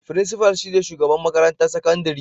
Frincifal shi ne shugaban makarantar sakandare.